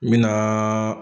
Min naaa.